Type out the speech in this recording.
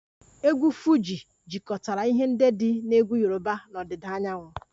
Egwu Fuji jikọtara ihe ndị dị na egwu Yoruba na ọdịda anyanwụ